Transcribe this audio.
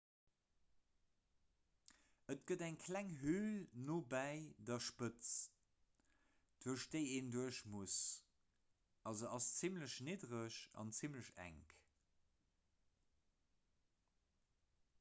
et gëtt eng kleng höl nobäi der spëtz duerch déi een duerch muss a se ass zimmlech niddereg an zimmlech enk